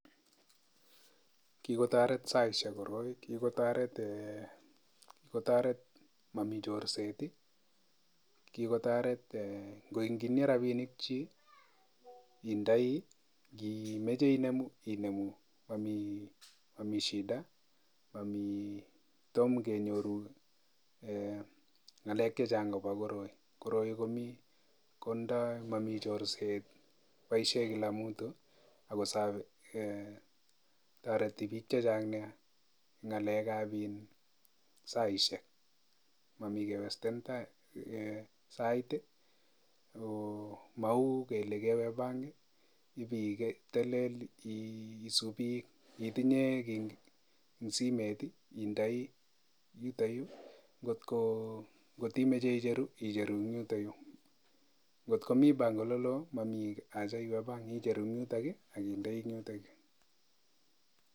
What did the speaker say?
Kikotoret saishek koroik, kikotoret mami chorset, kikotoret kiinie rapinik chi indoi, ngimeche inemu inemu mami shida, mami, tomo kenyoru ngalek chechang ako koroi. Koroi mami chorset, boisieny kila mtu[cs[ ako toreti biik chechang nea eng ngalekab saishek, mami kewesten sait, ko mau kele bank ipitelel isuupi. Ngi indoi keiy eng simet indoi yutoyu, ngotko imache icheru icheru eng yutukyu. Ngotko komi benkit ole loo mami acha iwe bank icheru eng yutok aki kindei eng yutok.